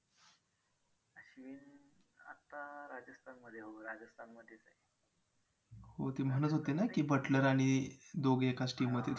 हो ते म्हणत होते ना की butler आणि दोघं एकाच team मध्ये आहेत.